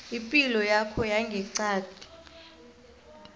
ipilo yakho yangeqadi